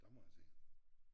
Der må jeg sige